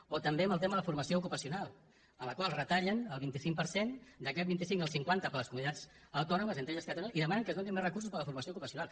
o també amb el tema de la formació ocupacional a la qual retallen el vint cinc per cent d’aquest vint cinc el cinquanta per a les comunitats autònomes entre les quals catalunya i demanen que es donin més recursos per a la formació ocupacional